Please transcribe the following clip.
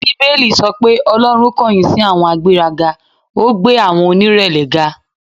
Bíbélì sọ pé Ọlọ́run kọ̀yìn sí àwọn agbéraga, ó gbé àwọn onírẹ̀lẹ̀ ga.